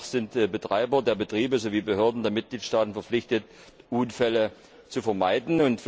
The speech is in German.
Demnach sind die Betreiber der Betriebe sowie die Behörden der Mitgliedstaaten verpflichtet, Unfälle zu vermeiden.